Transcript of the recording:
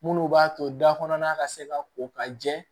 Munnu b'a to da kɔnɔna ka se ka ko ka jɛ